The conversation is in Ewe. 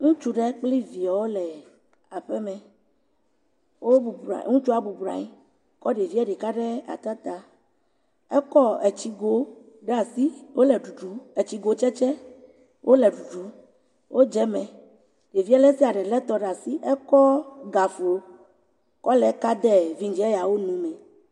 Ŋutsu ɖe kple viawo le aƒeme. Ŋutsu bɔbɔ nɔ anyi kɔ ɖevia ɖeka ɖe ata ta. Ekɔ tsigo ɖe asi wole ɖuɖum; tsigotsetse wole ɖuɖum. Wodze eme, ɖevia ɖe sia ɖe lé etɔ ɖe asi kɔ gaflo kɔ le kam de vɛ̃dzia ƒe nu me.